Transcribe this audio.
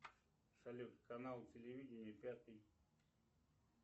салют канал телевидения пятый